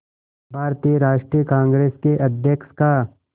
भारतीय राष्ट्रीय कांग्रेस के अध्यक्ष का